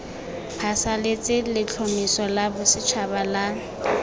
phasalatse letlhomeso la bosetšhaba la